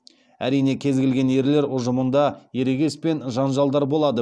әрине кез келген ерлер ұжымында ерегес пен жанжалдар болады